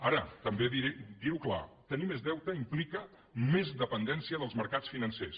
ara també dir ho clar tenir més deute implica més dependència dels mercats financers